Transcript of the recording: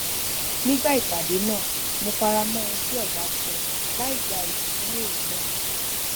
nígbà ìpàdé náà mo fara mó ohun tí ọga sọ láìgba iyì fún èrò náà